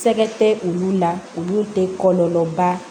Sɛgɛ tɛ olu la olu tɛ kɔlɔlɔba